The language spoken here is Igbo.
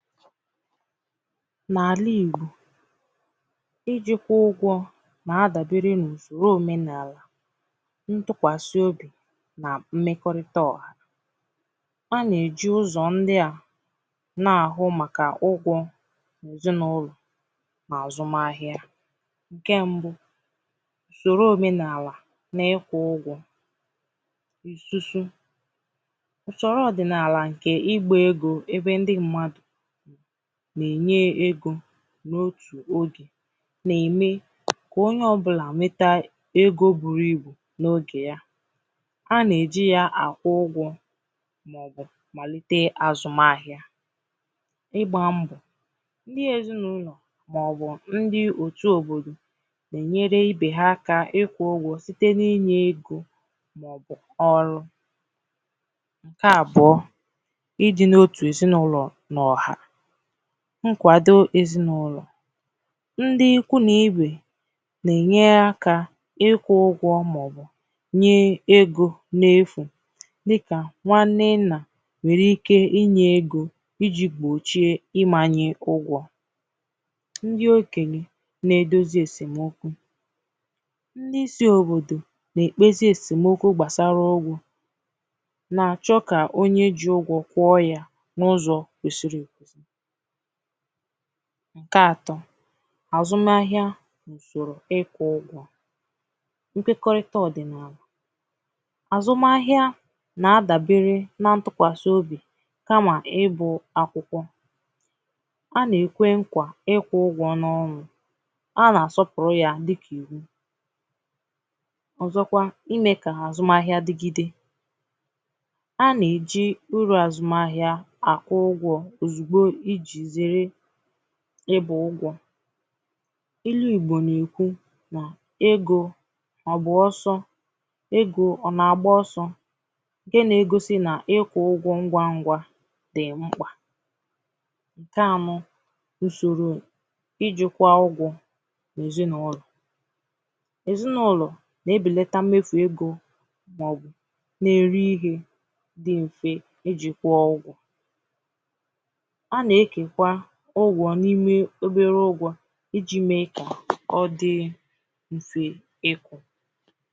N’àlà Ìgbò ijīkwā ụgwọ̄ nà-adàbère n’ùsòrò omēnààlà ntụkẁasị obì nà mmekọrịta ọ̀hà a nà-èji ụzọ̀ ndia na-àhụ màkà ụgwọ̄ n’èzinàụlọ̀ nà àzụm ahịa ùsòrò omenààlà n’ịkwụ̄ ụgwọ̄ ìsusu ùsòrò ọ̀dị̀nààlà ǹkè ịgbā egō ebe ndi mmādụ̀ nà-ènye egō n’otù ogè nà-ème kà onye ọbụlà nweta egō buru ibù n’ogè ya a nà-èji ya àkwụ ụgwọ̄ màọbụ̀ màlìte àzụm ahịa ịgbā mbọ̀ ndi èzinaụlọ̀ màọbụ̀ ndi òtù òbòdò nà-ènyere ibè ha akā ịkwụ̄ ụgwọ̄ site n’inyē egō màọbụ̀ ọrụ ǹkè àbụọ i dị̄ n’otù èzinàụlọ̀ nà ọ̀hà nkwàdo èzinàụlọ̀ ndi ikwu nà ibè nà-ènya ịkwụ̄ ụgwọ̄ màọbụ̀ nye egō n’efù dịkà nwa nnennà nwèrè ike inyē egō ijī gbòchie imānyē ụgwọ̄ ndi òkènyè nà-èdozi èsèm okwu ndi isi òbòdò nà-èkpezi èsèm okwu gbàsara ụgwọ̄ na-achọ kà onye ji ụgwọ̄ kwụọ ya n’ụzọ̀ kwesiri ekwēsī ǹkè atọ̄ àzụm ahịa ùsòrò ịkwụ̄ ụgwọ̄ nkwekọrịta ọ̀dị̀nààlà àzụm ahịa nà-àdàbere nà ntukwàsị obì kamà ịbụ̄ akwụkwọ a nà-èkwe nkwà ịkwụ̄ ụgwọ̄ n’ọnụ̄ a nà-àsọpụ̀rụ ya dịkà ìnwu ọ̀zọkwa imē kà àzụm digide a nà-èji urù àzụm ahịa àkwụ ụgwọ̄ òzùgbo ijī zère ịbà ụgwọ̄ ilū Ìgbò nà-èkwu nà egō àgbà ọsọ egō ọ̀ nà-àgba ọsọ̄ ǹkè na-egosi nà ịkwụ̄ ụgwọ̄ ngwangwā dị̀ mkpà ǹkè anọ̄ ùsòrò ijìkwà ụgwọ̄ bụ̀ èzinàụlọ̀ èzinàụlọ̀ na-ebèlata mmefù egō na-eri ihē dì m̀fe ejì kwụụ ụgwọ̄ a nà-ekèkwa ụgwọ̄ n’ime obere ụgwọ̄ ijī mee kà ọ dị mfē ịkwụ̄